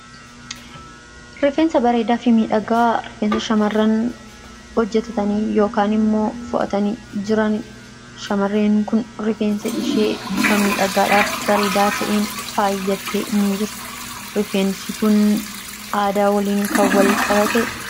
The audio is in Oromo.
Rifeensa bareedaa fi miidhagaa, rifeensa shamarran hojjetatanii yookaan immoo fu'atanii jiranidha. shamarreen kun rifeensa ishee bifa miidhagaadhaa fi bareedaa ta'een faayattee jirti. Rifeensi kun aadaa waliin kan walqabatedha.